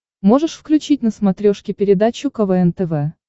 можешь включить на смотрешке передачу квн тв